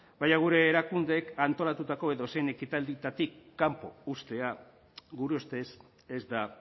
baina gure erakundeek antolatutako edozein ekitaldietatik kanpo uztea gure ustez ez da